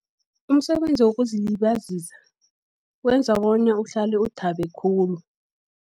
Umsebenzi wokuzilibazisa, wenza bona uhlale uthabe khulu.